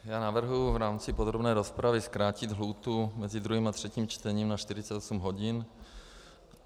Já navrhuji v rámci podrobné rozpravy zkrátit lhůtu mezi druhým a třetím čtením na 48 hodin.